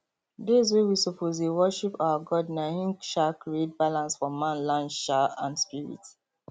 days wey we suppose dey worship our god na hin um create balance for manland um and spirit